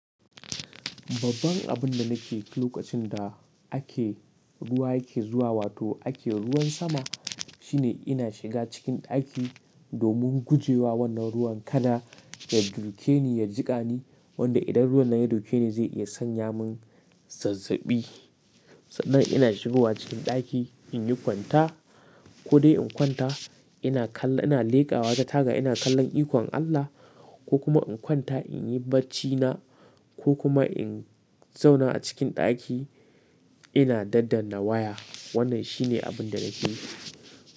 Babban abun da nake yi lokacin da ake ruwa yake zuwa wato ake ruwan sama, shine ina shiga cikin ɗaki domin gujewa wannan ruwan kana ya duke ni, ya jika ni. Wanda idan ruwan nan ya duke ni zai iya sanya mun zazzabi. Sannan ina shigowa cikin ɗaki in yi kwanta ko dai in kwanta ina kalla, ina leƙawa da taga ina kallon ikon Allah ko kuma in kwanta in yi bacci na ko kuma in zauna a cikin ɗaki ina daddanna waya. Wannan shine abin da nake yi.